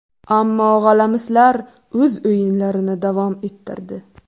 Ammo g‘alamislar o‘z o‘yinlarini davom ettirdi.